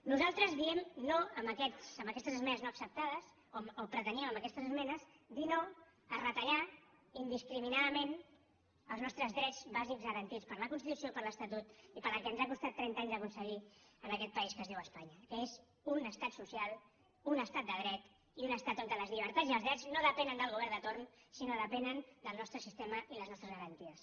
nosaltres diem no amb aquestes esmenes no acceptades o preteníem amb aquestes esmenes dir no a retallar indiscriminadament els nostres drets bàsics garantits per la constitució per l’estatut i pel que ens ha costat trenta anys d’aconseguir en aquest país que es diu espanya que és un estat social un estat de dret i un estat on les llibertats i els drets no depenen del govern de torn sinó que depenen del nostre sistema i les nostres garanties